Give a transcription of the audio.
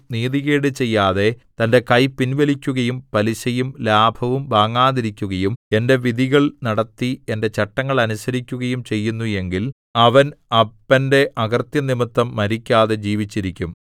നീതികേട് ചെയ്യാതെ തന്റെ കൈ പിൻവലിക്കുകയും പലിശയും ലാഭവും വാങ്ങാതിരിക്കുകയും എന്റെ വിധികൾ നടത്തി എന്റെ ചട്ടങ്ങൾ അനുസരിക്കുകയും ചെയ്യുന്നു എങ്കിൽ അവൻ അപ്പന്റെ അകൃത്യം നിമിത്തം മരിക്കാതെ ജീവിച്ചിരിക്കും